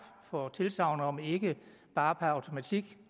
for tilsagnet om ikke bare per automatik